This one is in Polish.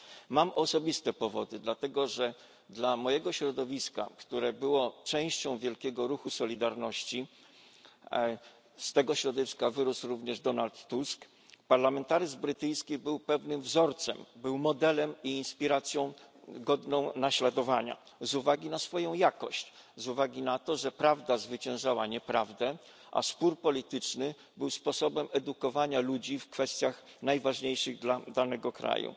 Mam osobiste powody, dlatego że dla mojego środowiska, które było częścią wielkiego ruchu Solidarności z tego środowiska wyrósł również Donald Tusk parlamentaryzm brytyjski był pewnym wzorcem, był modelem i inspiracją godną naśladowania, z uwagi na swoją jakość, z uwagi na to, że prawda zwyciężała nieprawdę, a spór polityczny był sposobem edukowania ludzi w kwestiach najważniejszych dla danego kraju.